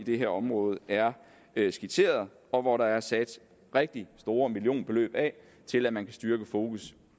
det her område er skitseret og hvor der er sat rigtig store millionbeløb af til at man kan styrke fokus